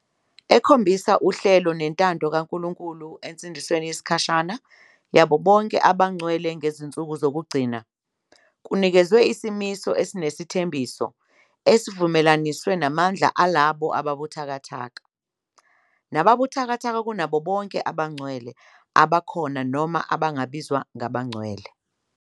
Ekhombisa uhlelo nentando kaNkulunkulu ensindisweni yesikhashana yabo bonke abangcwele ngezinsuku zokugcina-kunikezwe isimiso esinesithembiso, esivumelaniswe namandla alabo ababuthakathaka. nababuthakathaka kunabo bonke abangcwele, abakhona noma abangabizwa ngabangcwele.